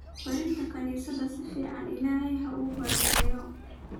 Berito kanisadha aad sifaa illahey uukubarakeyow.